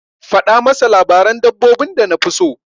Faɗa masa labarin dabbobin da nafi so.